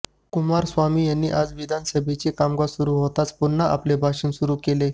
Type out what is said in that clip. कुमार स्वामी यांनी आज विधानसभेचे कामकाज सुरु होताच पुन्हा आपले भाषण सुरु केले